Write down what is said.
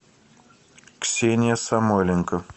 ксения самойленко